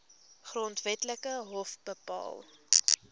grondwetlike hof bepaal